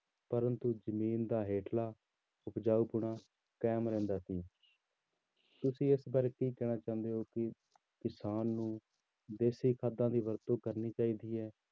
ਪਰੰਤੂ ਜ਼ਮੀਨ ਦਾ ਹੇਠਲਾ ਉਪਜਾਊ ਪੁਣਾ ਕਾਇਮ ਰਹਿੰਦਾ ਸੀ ਤੁਸੀਂ ਇਸ ਬਾਰੇ ਕੀ ਕਹਿਣਾ ਚਾਹੁੰਦੇ ਹੋ ਕਿ ਕਿਸਾਨ ਨੂੰ ਦੇਸ਼ੀ ਖਾਦਾਂ ਦੀ ਵਰਤੋਂ ਕਰਨੀ ਚਾਹੀਦੀ ਹੈ